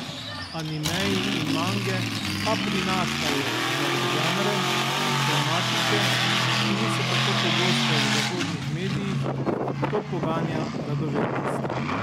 Animeji in mange pa prinašajo nove žanre, tematike, ki niso tako pogoste v zahodnih medijih, to poganja radovednost.